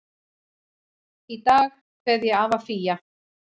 Í dag kveð ég afa Fía.